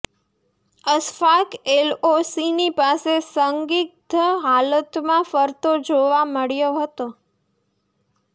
અશફાક એલઓસીની પાસે સંદિગ્ધ હાલતમાં ફરતો જોવા મળ્યો હતો